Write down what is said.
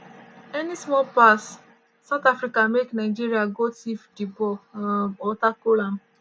any small pass south africa make nigeria go tiff di ball um or tackle dem.